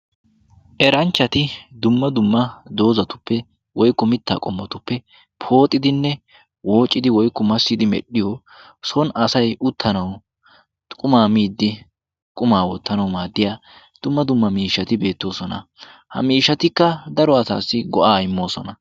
Eranchchati dumma dumma doozatuppe woykku mittaa qommotuppe pooxidinne woocidi woikku massidi medhdhiyo son asay uttanawu qumaa miiddi qumaa woottanawu maaddiya dumma dumma miishshati beettoosona. Ha miishatikka daro asaassi go'aa immoosona.